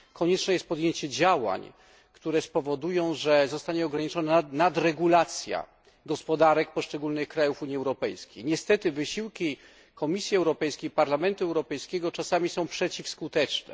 Konieczne jest podjęcie działań, które spowodują, że zostanie ograniczona nadregulacja gospodarek poszczególnych krajów Unii Europejskiej. Niestety wysiłki Komisji Europejskiej i Parlamentu Europejskiego czasami są przeciwskuteczne.